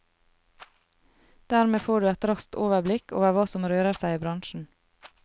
Dermed får du et raskt overblikk over hva som rører seg i bransjen.